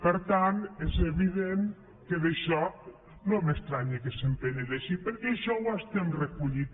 per tant és evident que d’això no m’estranya que se’n penedeixi perquè això ho estem recollint